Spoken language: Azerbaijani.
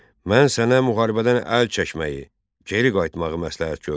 Mən sənə müharibədən əl çəkməyi, geri qayıtmağı məsləhət gördüm.